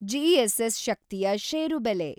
GSS ಶಕ್ತಿಯ ಷೇರು ಬೆಲೆ